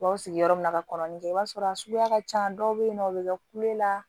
U b'aw sigi sigi yɔrɔ min ka kɔnɔnin kɛ i b'a sɔrɔ a suguya ka can dɔw be yen nɔ o be kɛ kule la